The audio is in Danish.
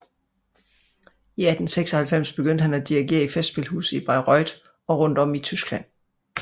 I 1896 begyndte han at dirigere i festspilhuset i Bayreuth og rundt om i Tyskland